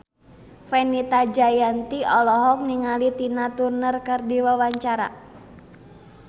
Fenita Jayanti olohok ningali Tina Turner keur diwawancara